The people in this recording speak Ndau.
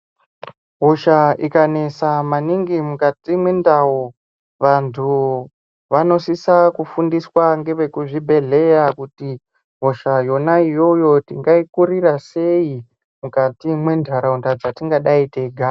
Hosha ikanesa maningi mukati mwendau. Vantu vanosisa kufundiswa nevekuzvibhedhleya kuti hosha yona iyoyo tingaikurira sei, mukati mentaraunda dzatingadai teigara.